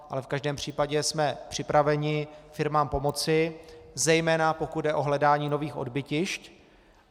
Ale v každém případě jsme připraveni firmám pomoci, zejména pokud jde o hledání nových odbytišť.